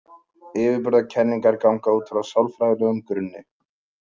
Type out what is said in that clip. Yfirburðakenningar ganga útfrá sálfræðilegum grunni.